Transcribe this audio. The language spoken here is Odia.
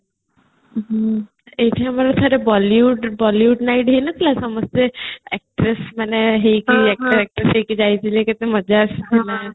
ଏଇଠି ଆମର ଥରେ bollywood ନାଇଟ ହେଇନଥିଲା ସମସ୍ତେ ମାନେ actress ମାନେ ହେଇକି ଯାଇଥିଲେ କେତେ ମଜା ଆସିଥିଲା